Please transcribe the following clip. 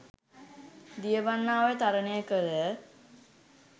දියවන්නා ඔය තරණය කළ